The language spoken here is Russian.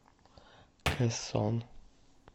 кэсон